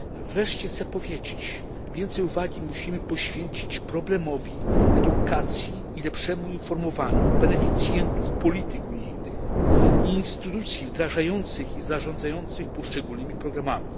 Wreszcie chciałbym powiedzieć, iż więcej uwagi musimy poświęcić problemowi edukacji i lepszemu informowaniu beneficjentów polityk unijnych i instytucji wdrażających i zarządzających poszczególnymi programami.